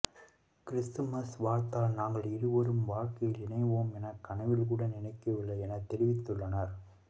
Christmas வாழ்த்தால் நாங்கள் இருவரும் வாழ்க்கையில் இணைவோம் என கனவில் கூட நினைக்கவில்லை என தெரிவித்துள்ளனர்